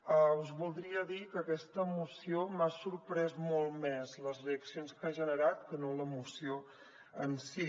us voldria dir que d’aquesta moció m’han sorprès molt més les reaccions que ha generat que no la moció en si